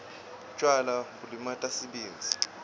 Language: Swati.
tjwala bulimata sibindzi